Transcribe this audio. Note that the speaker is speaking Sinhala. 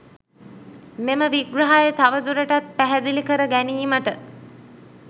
මෙම විග්‍රහය තවදුරටත් පැහැදිලි කර ගැනීමට